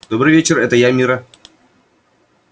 добрый вечер это я мирра